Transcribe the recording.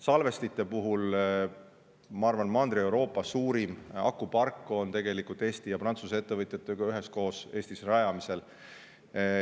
Salvestite puhul, ma arvan, on Mandri-Euroopa suurim akupark Eestis tegelikult Eesti ja Prantsuse ettevõtjatega üheskoos rajamisel.